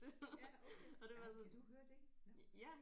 Ja okay ej kan du høre det nåh